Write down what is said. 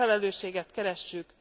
Ezt a felelősséget keressük!